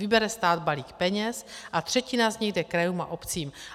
Vybere stát balík peněz a třetina z nich jde krajům a obcím.